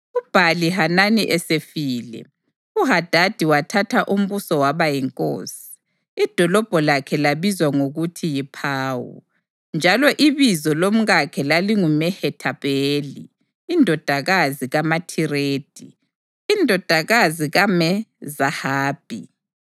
UBhali-Hanani esefile, uHadadi wathatha umbuso waba yinkosi. Idolobho lakhe labizwa ngokuthi yiPawu, njalo ibizo lomkakhe lalinguMehethabheli indodakazi kaMathiredi, indodakazi kaMe-Zahabhi.